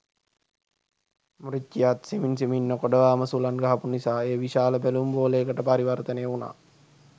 මුරිච්චියාත් සෙමින් සෙමින් නොකඩවාම සුළං ගහපු නිසා එය විශාල බැලුම් බෝලයකට පරිවර්තනය වුණා.